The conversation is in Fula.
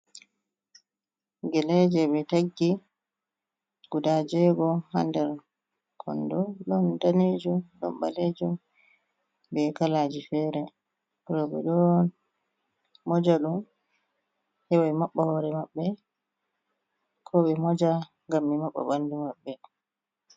Geleeje ɓe taggi, guda jeego haa nder konndo, ɗon daneejum, ɗon ɓaleejum be kalaaji feere. Rowɓe ɗo moja ɗum, heɓa maɓɓa hoore maɓɓe, ko ɓe moja ngam ɓe maɓɓa ɓanndu maɓɓe.